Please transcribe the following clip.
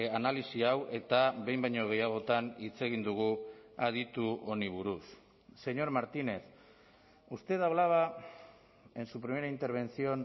analisi hau eta behin baino gehiagotan hitz egin dugu aditu honi buruz señor martínez usted hablaba en su primera intervención